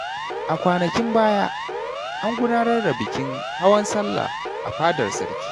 A kwanakin baya, an gudanar da bikin hawan Sallah a fadar sarki.